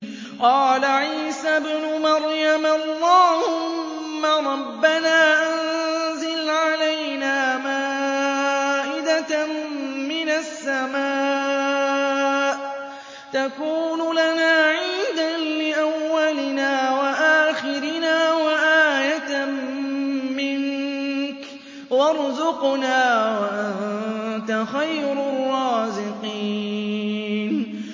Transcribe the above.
قَالَ عِيسَى ابْنُ مَرْيَمَ اللَّهُمَّ رَبَّنَا أَنزِلْ عَلَيْنَا مَائِدَةً مِّنَ السَّمَاءِ تَكُونُ لَنَا عِيدًا لِّأَوَّلِنَا وَآخِرِنَا وَآيَةً مِّنكَ ۖ وَارْزُقْنَا وَأَنتَ خَيْرُ الرَّازِقِينَ